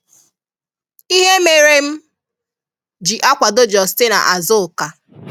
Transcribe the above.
Ihe mere m ji akwádọ Justina Azùká